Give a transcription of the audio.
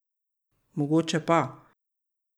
Mogoče pa.